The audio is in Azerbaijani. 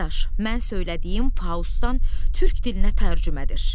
Dadaş, mən söylədiyim Faustdan Türk dilinə tərcümədir.